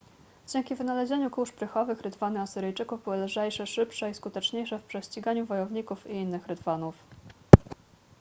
dzięki wynalezieniu kół szprychowych rydwany asyryjczyków były lżejsze szybsze i skuteczniejsze w prześciganiu wojowników i innych rydwanów